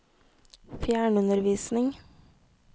fjernundervisning